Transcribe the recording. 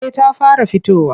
Eh ta fara fitowa.